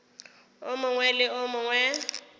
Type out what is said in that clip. o mongwe le o mongwe